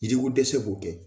Yiriko dɛsɛ b'o kɛ.